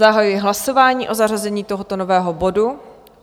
Zahajuji hlasování o zařazení tohoto nového bodu.